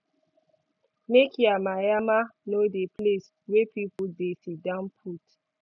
make yama yama no dey place wey people dey siddan put